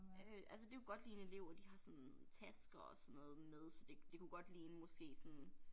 Øh altså det kunne godt ligne elever de har sådan tasker og sådan noget med så det det kunne godt ligne måske sådan